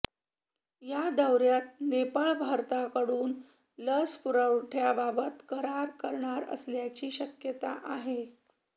या दौऱ्यात नेपाळ भारताकडून लस पुरवठ्याबाबत करार करणार असल्याची शक्यता आहे